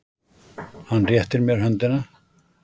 Hann réttir mér höndina.